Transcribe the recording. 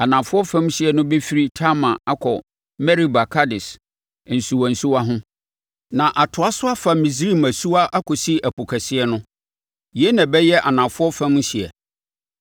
Anafoɔ fam hyeɛ no bɛfiri Tamar akɔ Meriba Kades nsuwansuwa ho, na atoa so afa Misraim asuwa akɔsi Ɛpo Kɛseɛ no. Yei na ɛbɛyɛ anafoɔ fam hyeɛ.